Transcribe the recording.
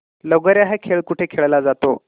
लगोर्या हा खेळ कुठे खेळला जातो